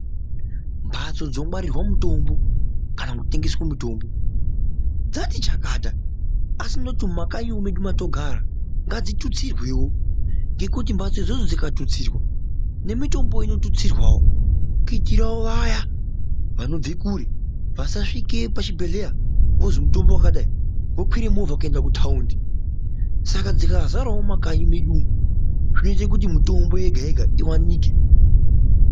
Mbatso dzinongwarirwe mutombo kana kutemgeswe mutombo dzati chakati asi noti mumakanyi medumo matinogara ngadzitutsirwewo ngekuti mbatso idzodzo dzikatutsirwa nemitombo inotutsirwawo kuitirawo vaya vanobve kure vasasvike pachibhedhlera voti mutombo wakadai vokwire movha kuende kutaundi saka dzikazarawo mumakanyi medu umo zvinoite kuti mitombo yega yega iwanike.